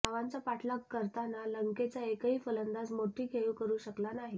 धावांचा पाठलाग करताना लंकेचा एकही फलंदाज मोठी खेळी करु शकला नाही